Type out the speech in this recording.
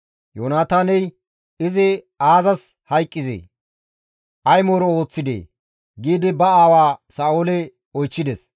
Yoonataaney, «Izi aazas hayqqizee? Ay mooro ooththidee?» giidi ba aawa Sa7oole oychchides.